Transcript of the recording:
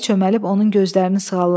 Meşəbəyi çöməlib onun gözlərini sığalladı.